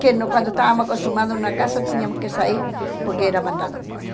Que no quando estávamos acostumados na casa, tínhamos que sair porque era mandado embora.